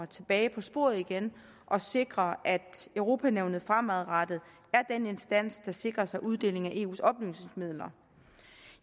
tilbage på sporet igen og sikrer at europa nævnet fremadrettet er den instans der sikrer sig uddeling af eus oplysningsmidler